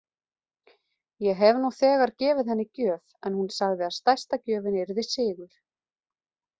Ég hef nú þegar gefið henni gjöf en hún sagði að stærsta gjöfin yrði sigur.